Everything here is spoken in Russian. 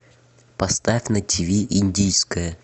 поставь на тиви индийское